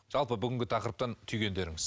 жалпы бүгінгі тақырыптан түйгендеріңіз